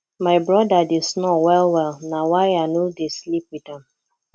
my broda dey snore wellwell na why i no dey sleep wit am